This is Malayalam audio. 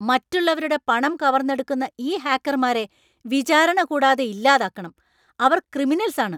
മറ്റുള്ളവരുടെ പണം കവർന്നെടുക്കുന്ന ഈ ഹാക്കർമാരെ വിചാരണ കൂടാതെ ഇല്ലാതാക്കണം. അവർ ക്രിമിനൽസാണ്.